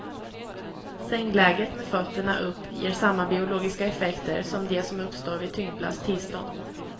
Sängläget med fötterna upp ger samma biologiska effekter som de som uppstår vid tyngdlöst tillstånd.